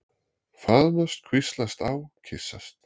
Faðmast, hvíslast á, kyssast.